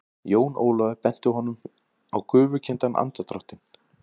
Jón Ólafur benti honum á gufukenndan andardráttinn.